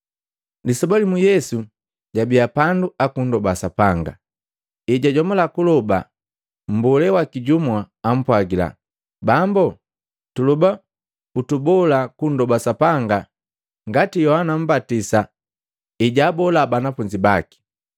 Lisoba limu, Yesu jabi pandu akundoba Sapanga. Ejajomula kuloba, mbolee waki jumu apwagila, “Bambo, tuloba utubola kundoba Sapanga ngati Yohana Mmbatisa ejwaabolaa banafunzi baki.”